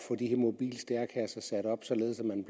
de mobile stærekasser sat op således at man